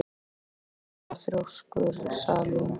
Af hverju ertu svona þrjóskur, Salín?